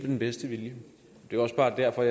den bedste vilje det er også bare derfor